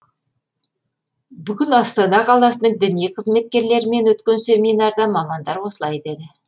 бүгін астана қаласының діни қызметкерлерімен өткен семинарда мамандар осылай деді